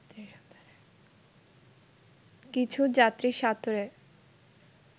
কিছু যাত্রী সাঁতরে